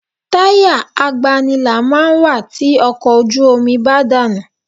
Táyà agbanilà máa ń wà tí ọkọ̀ ojú omi bá dànù